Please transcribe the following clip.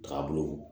Tagabolo